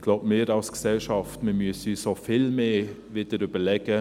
Ich glaube, wir müssen uns als Gesellschaft auch wieder vielmehr überlegen: